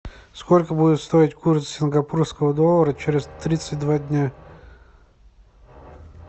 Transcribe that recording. сколько будет стоить курс сингапурского доллара через тридцать два дня